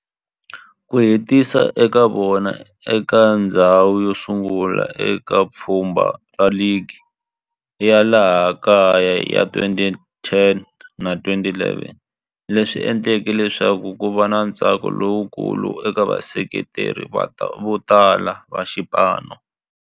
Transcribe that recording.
Ku hetisa ka vona eka ndzhawu yosungula eka pfhumba ra ligi ya laha kaya ya 2010 na 11 swi endle leswaku kuva na ntsako lowukulu eka vaseketeri votala va xipano.